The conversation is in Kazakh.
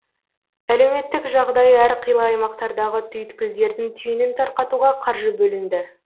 әлеуметтік жағдайы әрқилы аймақтардағы түйткілдердің түйінін тарқатуға қаржы бөлінді